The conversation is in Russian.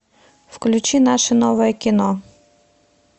включи наше новое кино